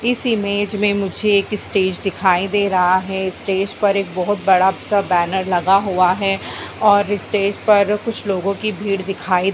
इस इमेज में मुझे एक स्टेज दिखाई दे रहा है स्टेज पर एक बहुत बड़ा सा बैनर लगा हुआ है और स्टेज पर कुछ लोगो की भीड़ दिखाई --